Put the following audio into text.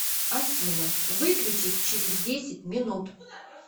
афина выключись через десять минут